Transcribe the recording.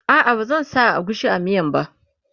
a'a ba zan sa agushi a miyan ba